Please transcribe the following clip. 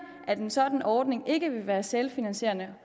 at en sådan ordning ikke vil være selvfinansierende